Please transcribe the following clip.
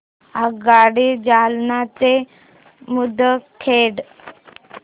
आगगाडी जालना ते मुदखेड